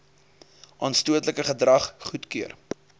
aanstootlike gedrag goedkeur